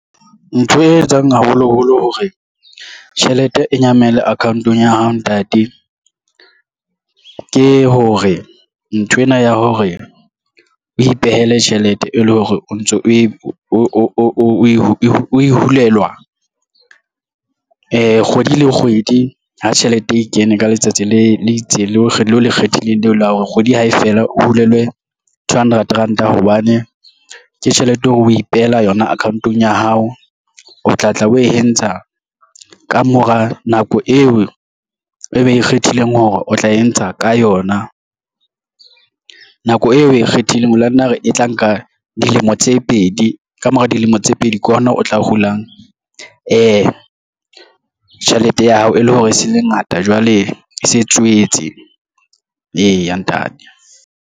Ntho e etsang haholoholo hore tjhelete e nyamela account-ong ya hao ntate ke hore nthwena ya hore o ipehele tjhelete e le hore o ntso o e hulelwa kgwedi le kgwedi ha tjhelete e kene ka letsatsi le itseng le ikgethileng leo la hore kgwedi hae fela o hulelwe two hundred ranta hobane ke tjhelete hore o ipehela yona account-ong ya hao o tla tla o entsha ka mora nako eo e be e ikgethileng hore o tla e ntsha ka yona nako eo o e kgethileng mona na re e tla nka dilemo tse pedi ka mora dilemo tse pedi ke ona o tla hulang ee, tjhelete ya hao e le hore e se le ngata jwale e se e tswetse eya ntate.